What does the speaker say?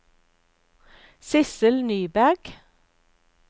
Sissel Nyberg